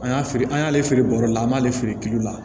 An y'a feere an y'ale feere bɔrɔ la an b'ale feere kilo la